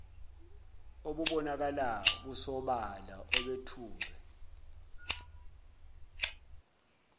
obubonakala busobala obethulwe